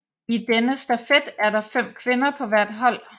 I denne stafet er der fem kvinder på hvert hold